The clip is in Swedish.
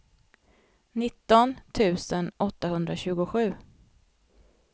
nitton tusen åttahundratjugosju